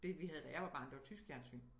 Det vi havde da jeg var barn det var tysk fjernsyn